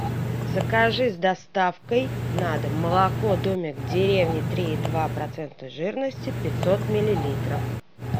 закажи с доставкой на дом молоко домик в деревне три и два процента жирности пятьсот миллилитров